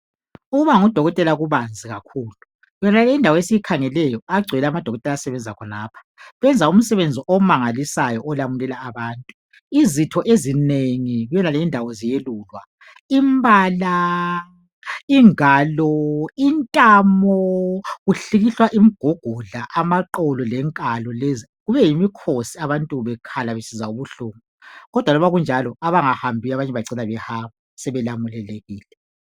Ukuba ngudokotela kubanzi kakhulu. Yonale indawo esiyikhangeleyo, agcwele amadokotela asebenza khonapha. Benza umsebenzi omangalisayo, olamulela abantu. Izitho ezinengi kuyonale indawo ziyelulwa. Imbala, ingalo, intamo! Kuhlikihlwa imigogodla, amaqolo lenkalo lezi. Kube yimikhosi, abantu bekhala, besizwa ubuhlungu, kodwa oba kunjalo, abanye abangahambiyo, bacina behamba. Sebelamulelekile!